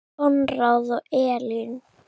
Konráð og Elín.